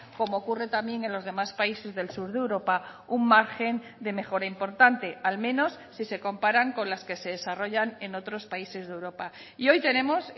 como ocurre también en los demás países del sur de europa un margen de mejora importante al menos si se comparan con las que se desarrollan en otros países de europa y hoy tenemos